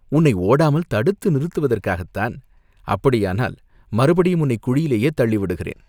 "உன்னை ஓடாமல் தடுத்து நிறுத்துவதற்காகத் தான்!" "அப்படியானால் மறுபடியும் உன்னைக் குழியிலேயே தள்ளி விடுகிறேன்.